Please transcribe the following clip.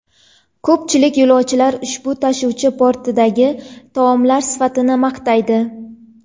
Ko‘pchilik yo‘lovchilar ushbu tashuvchi bortidagi taomlar sifatini maqtaydi.